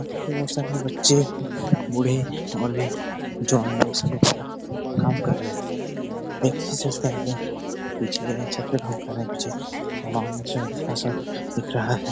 और सभी बच्चे बूढ़े और भी जवान लोग सब यहाँ पर काम कर रहे हैं देख भी सकते हैं हम लोग पिछले छत पे काम कर रहे पीछे सा दिख रहा है।